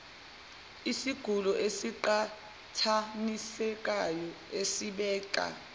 isigulo esiqhathanisekayo esibeka